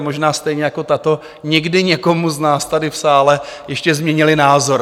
a možná stejně jako tato, někdy někomu z nás tady v sále ještě změnily názor.